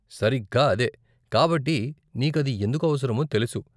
సరిగ్గా అదే, కాబట్టి నీకు అది ఎందుకు అవసరమో తెలుసు.